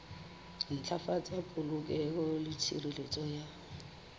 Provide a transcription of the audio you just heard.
ntlafatsa polokeho le tshireletso ya